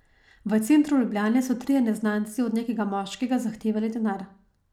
V centru Ljubljane so trije neznanci od nekega moškega zahtevali denar.